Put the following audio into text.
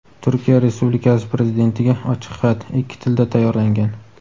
"Turkiya Respublikasi Prezidentiga ochiq xat" ikki tilda tayyorlangan.